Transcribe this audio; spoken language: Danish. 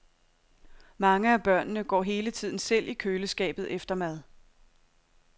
Mange af børnene går hele tiden selv i køleskabet efter mad.